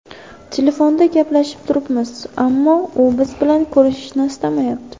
Telefonda gaplashib turibmiz, ammo u biz bilan ko‘rishishni istamayapti.